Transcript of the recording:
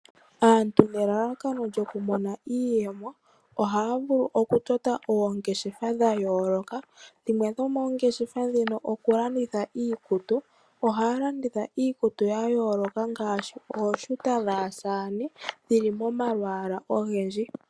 Aantu nelalakano lyoku mona iiyemo ohaa vulu okutota oongeshefa dha yooloka, dhimwe dhomoongeshefa ndhino okulanditha iikutu. Ohaa landitha iikutu ya yooloka ngaashi ooshuta dhaasaane dhili momalwaala ogendji.